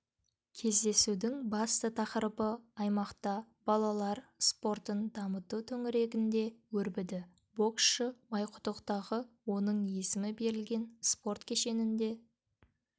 кездесудің басты тақырыбы аймақта балалар спортын дамыту төңірегінде өрбіді боксшы майқұдықтағы оның есімі берілген спорт кешенінде